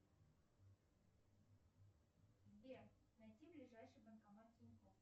сбер найти ближайший банкомат тинькофф